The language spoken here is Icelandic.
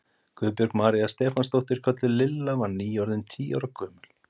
Guðbjörg María Stefánsdóttir, kölluð Lilla, var nýorðin tíu ára gömul.